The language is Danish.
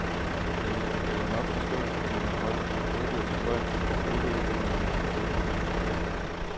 Jamen, du kan jo nok forstå, at når man bare giver boliger til folk, så ødelægger de dem jo selvfølgelig.